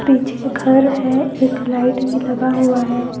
पीछे घर है एक लाइट भी लगा हुआ है।